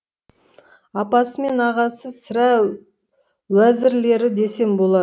апасы мен ағасы сірә уәзірлері десем болады